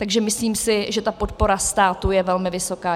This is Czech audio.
Takže myslím si, že ta podpora státu je velmi vysoká.